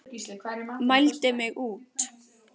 Mældi mig út.